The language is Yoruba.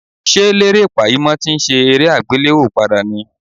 Ṣé Lérè Pàímọ́ ti ń ṣe eré àgbéléwò padà ní?